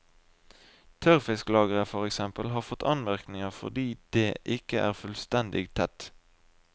Tørrfisklageret, for eksempel, har fått anmerkninger fordi det ikke er fullstendig tett.